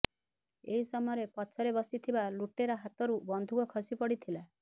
ଏହି ସମୟରେ ପଛରେ ବସିଥିବା ଲୁଟେରା ହାତରୁ ବନ୍ଧୁକ ଖସି ପଡି଼ଥିଲା